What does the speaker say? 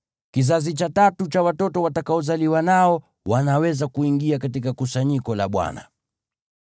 Kizazi cha tatu cha watoto watakaozaliwa nao wanaweza kuingia katika kusanyiko la Bwana .